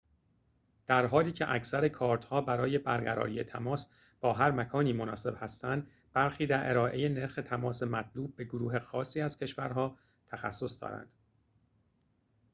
در حالی که اکثر کارت‌ها برای برقراری تماس با هر مکانی مناسب هستند برخی در ارائه نرخ تماس مطلوب به گروه خاصی از کشورها تخصص دارند